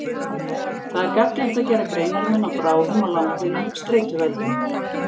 Það er gagnlegt að gera greinarmun á bráðum og langvinnum streituvöldum.